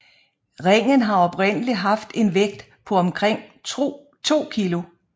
Ringen har oprindelig haft en vægt på omkring 2 kg